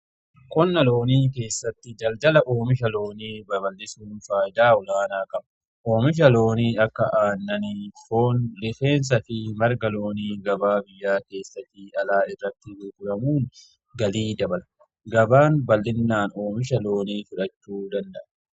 Qonna loonii keessatti daldaala oomisha loonii babal'isuun faayidaa olaanaa qaba. Oomisha loonii akka aannani, foon Fi lafeensa fi marga loonii gabaa biyyaa keessattii fi alaa irratti guguramuun galii dabala. Gabaan bal'innaan oomisha loonii fudhachuu danda'a.